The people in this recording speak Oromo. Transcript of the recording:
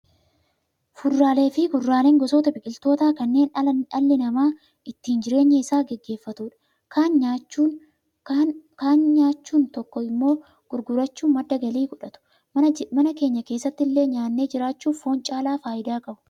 Fuduraalee fi kuduraaleen gosoota biqilootaa kanneen dhalli namaa ittiin jireenya isaa gaggeeffatu kaan nyaachuun tokko tokko immoo gurgurachuun madda galii godhatu. Mana keenya keessatti illee nyaannee jiraachuuf foon caalaa fayidaa qabu.